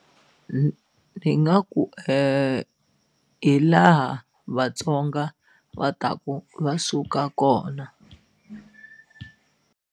ni nga ku hi laha Vatsonga va taku va suka kona.